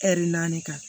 naani kan